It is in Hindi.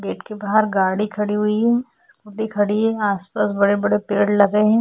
गेट के बाहर गाड़ी खड़ी हुई है वो भी खड़ी है आसपास बड़े-बड़े पेड़ लगे हैं।